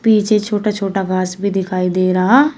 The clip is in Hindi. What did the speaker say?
नीचे छोटा छोटा घास भी दिखाई दे रहा--